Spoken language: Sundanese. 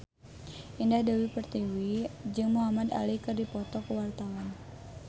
Indah Dewi Pertiwi jeung Muhamad Ali keur dipoto ku wartawan